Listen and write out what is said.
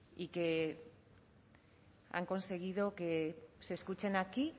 y que han conseguido que se escuchen aquí